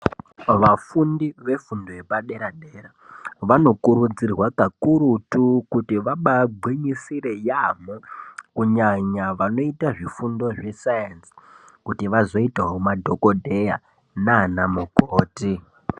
Vafundi vefundo yepadera dera vanokurudzirwa kakurutu kuti vambaye gwinyisire yaamho kunyanya vanoita zvidzidzo zvesainzi kuti vazoitawo madhokodheya nana mukoti.